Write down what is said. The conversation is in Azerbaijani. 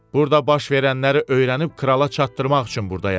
Burda baş verənləri öyrənib krala çatdırmaq üçün burdayam.